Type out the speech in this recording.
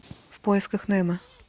в поисках немо